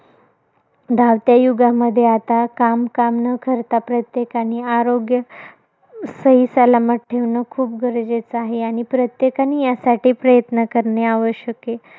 धावत्या युगामध्ये आता, काम काम न करता प्रत्येकाने, आरोग्य, सहीसलामत ठेवणं खूप गरजेचं आहे. आणि प्रत्येकाने यासाठी प्रयत्न करणे आवश्यक आहे.